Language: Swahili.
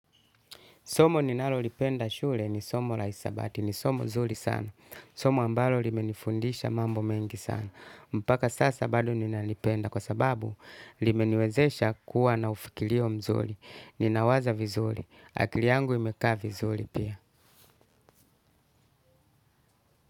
Somo ninalo lipenda shule ni somo la isabati, ni somo nzuri sana. Somo ambalo limenifundisha mambo mengi sana. Mpaka sasa bado ninalipenda kwa sababu limeniwezesha kuwa na ufikirio mzuri. Ninawaza vizuri. Akili yangu imekaa vizuri pia.